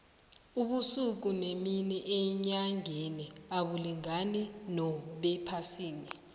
ubusuku nemini enyangeni abulingani nobephasini